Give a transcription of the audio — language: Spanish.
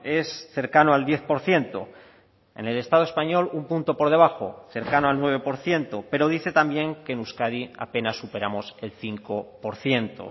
es cercano al diez por ciento en el estado español un punto por debajo cercano al nueve por ciento pero dice también que en euskadi apenas superamos el cinco por ciento